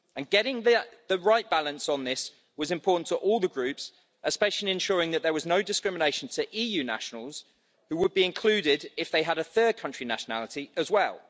Getting the right balance on this was important to all the groups, especially ensuring that there was no discrimination to EU nationals, who would be included if they had a third country nationality as well.